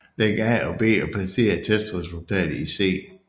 Læg A til B og placer resultatet i C